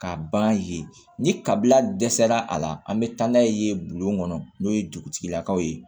K'a ban yen ni kabila dɛsɛra a la an bɛ taa n'a ye yen bulon kɔnɔ n'o ye dugutigilakaw ye